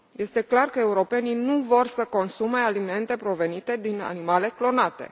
Este clar că europenii nu vor să consume alimente provenite din animale clonate.